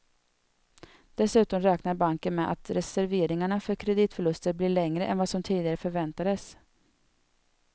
Dessutom räknar banken med att reserveringarna för kreditförluster blir lägre än vad som tidigare förväntades.